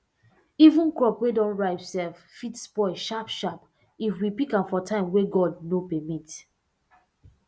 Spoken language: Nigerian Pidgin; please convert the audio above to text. even crop wey don ripe sef fit spoil sharpsharp if we pick am for time wey god no permit